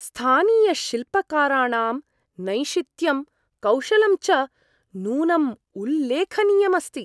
स्थानीयशिल्पकाराणां नैशित्यं, कौशलं च नूनम् उल्लेखनीयम् अस्ति।